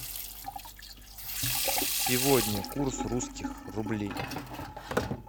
сегодня курс русских рублей